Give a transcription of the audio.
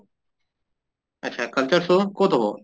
আত্চ্ছা culture show কʼত হʼব?